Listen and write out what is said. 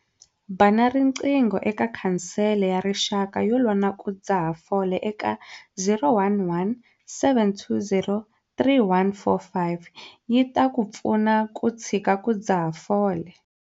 Bana riqingho eka Khansele ya Rixaka yo Lwa na ku Dzaha Fole eka- 011 720 3145 yi ta ku pfuna ku tshika ku dzaha fole.